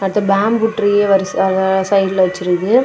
அடுத்து பேம்பு ட்ரீய வரிசையாக சைடுல வச்சுருக்கு.